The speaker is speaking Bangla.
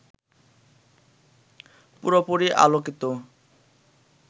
পুরোপুরি আলোকিত